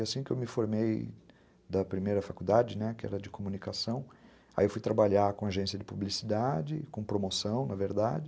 E assim que eu me formei da primeira faculdade, né, que era de comunicação, aí eu fui trabalhar com agência de publicidade, com promoção, na verdade.